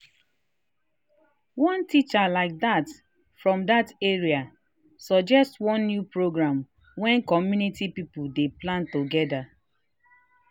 one teacher like that from that area suggest one new program when community people dey plan together.